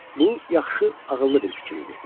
Bu yaxşı, ağıllı bir fikir idi.